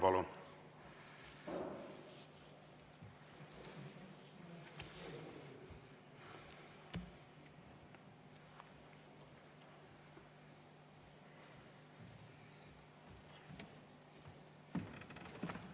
Palun!